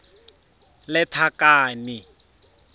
lethakane